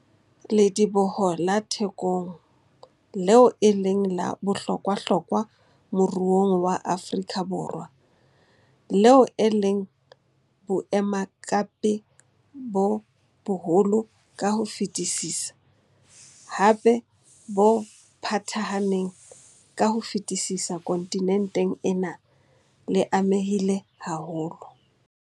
Lediboho la Thekong, leo e leng la bohlokwahlokwa moruong wa Afrika Borwa, leo e leng boemakepe bo boholo ka ho fetisisa, hape bo phathahaneng ka ho fetisisa kontinenteng ena, le amehile haholo.